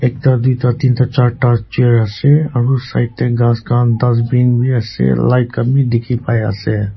ekta duita tinta charta chair ase aru side te gass khan dustbin bhi ase light khan bhi dekhi pai ase.